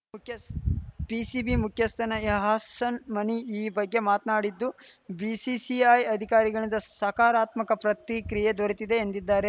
ಮುಖ್ಯಸ್ PCB ಮುಖ್ಯಸ್ಥ ಎಹ್ಸಾನ್‌ ಮಣಿ ಈ ಬಗ್ಗೆ ಮಾತ್ನಾಡಿದ್ದು ಬಿಸಿಸಿಐ ಅಧಿಕಾರಿಗಳಿಂದ ಸಕಾರಾತ್ಮಕ ಪ್ರತಿಕ್ರಿಯೆ ದೊರೆತಿದೆ ಎಂದಿದ್ದಾರೆ